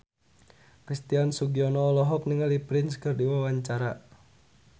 Christian Sugiono olohok ningali Prince keur diwawancara